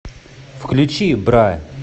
включи бра